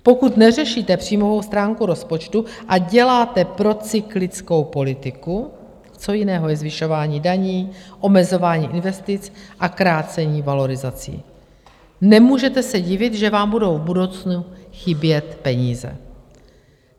Pokud neřešíte příjmovou stránku rozpočtu a děláte procyklickou politiku - co jiného je zvyšování daní, omezování investic a krácení valorizací - nemůžete se divit, že vám budou v budoucnu chybět peníze.